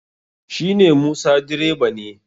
shi ne musa direba ne